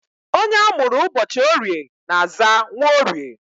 Onye amụrụ ụbọchị Orie na-aza Nworie